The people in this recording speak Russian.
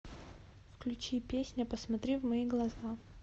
включи песня посмотри в мои глаза